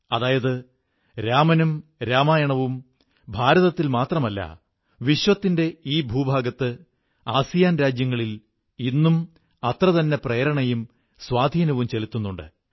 അതായത് രാമനും രാമായണവും ഭാരതത്തിൽ മാത്രമല്ല ലോകത്തിന്റെ ഈ ഭൂവിഭാഗത്ത് ആസിയാൻ രാജ്യങ്ങളിൽ ഇന്നും അത്രതന്നെ പ്രേരണയും സ്വാധീനവും ചെലുത്തുന്നുണ്ട്